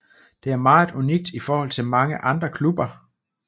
Det er meget unikt i forhold til mange andre klubber